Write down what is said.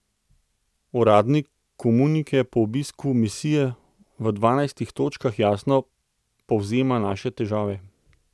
Uradni komunike po obisku misije v dvanajstih točkah jasno povzema naše težave.